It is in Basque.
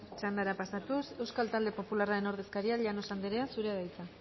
txandara pasatuz euskal talde popularraren ordezkaria llanos andrea zurea da hitza